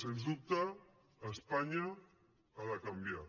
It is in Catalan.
sens dubte espanya ha de canviar